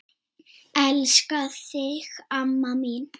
Elska þig amma mín.